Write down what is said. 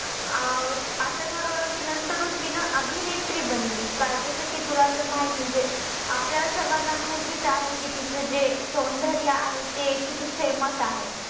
आऊ अस ठरवल कि नंतरून तीन अभिनेत्री बनली. काय जस कि तुला तर माही म्हणजे आपल्या सर्वाना माहितीच आहे कि तीच जे सौंदर्य आहे ते किती ते famous आहे.